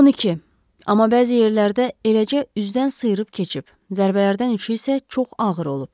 12, amma bəzi yerlərdə eləcə üzdən sıyırıb keçib, zərbələrdən üçü isə çox ağır olub.